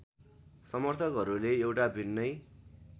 समर्थकहरूले एउटा भिन्नै